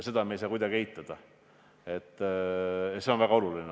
Seda ei saa me kuidagi eitada, see on olnud väga oluline.